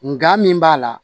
Nga min b'a la